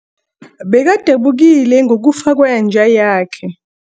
Bekadabukile ngokufa kwenja yakhe.